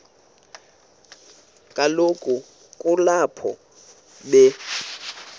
kaloku kulapho be